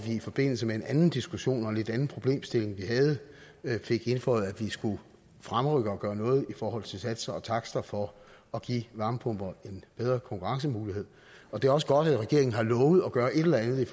i forbindelse med en anden diskussion om en lidt anden problemstilling vi havde fik indføjet at vi skulle fremrykke at gøre noget i forhold til satser og takster for at give varmepumper en bedre konkurrencemulighed og det er også godt at regeringen har lovet at gøre et eller andet